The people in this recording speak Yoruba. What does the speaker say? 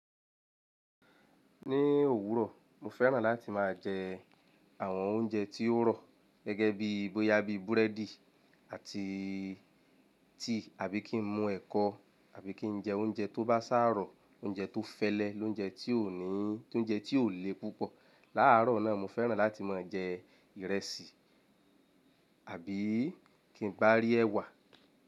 Ní òwúrọ̀, mo fẹ́ràn láti máa jẹ àwọn oúnjẹ tí ó rọ̀ gẹ́gẹ́ bí i bóyá bí i búrẹ́dì àti tea àbí kí n mu ẹ̀kọ àbí kí n jẹ oúnjẹ tó bá sárọ̀, oúnjẹ tó fẹ́lẹ́, lóúnjẹ tí ò ní, óúnjẹ tí ò le púpọ̀. Láàárọ̀ náà, mo fẹ́ràn láti máa jẹ ìrẹsì àbí kí n bá rí ẹwà.